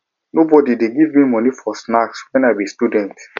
nobodi dey give me moni for snacks wen i be student